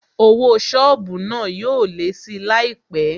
Owó sọ́ọ̀bù náà yóò lé síi láìpé